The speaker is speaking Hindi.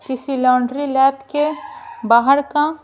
किसी लौंड्री लैब के बाहर का--